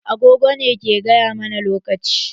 Agogo ne ke gaya mana lokaci.